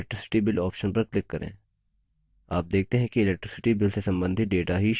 तो electricity bill option पर click करें